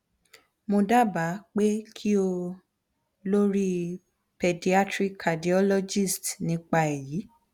mo daba pe ki o lori pediatric cardiologist nipa eyi